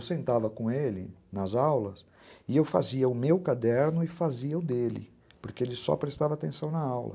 Eu sentava com ele nas aulas e eu fazia o meu caderno e fazia o dele, porque ele só prestava atenção na aula.